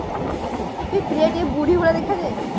ଏ ପ୍ରିୟା ଟିକେ ବୁଢୀ ଭଳିଆ ଦେଖା ଯାଏନି